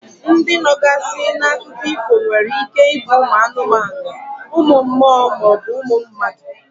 Ndi nọgazi n'akụkọ ifo nwere ike ibu umu anumanu, umu mmuo ma ọ bu umu mmadu.